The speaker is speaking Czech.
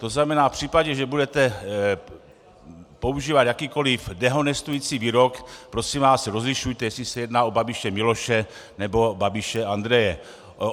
To znamená v případě, že budete používat jakýkoliv dehonestující výrok, prosím vás, rozlišujte, jestli se jedná o Babiše Miloše, nebo Babiše Andreje.